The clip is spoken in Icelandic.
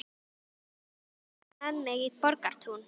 Farið var með mig í Borgartún.